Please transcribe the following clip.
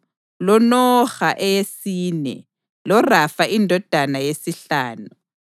loNoha eyesine loRafa indodana yesihlanu.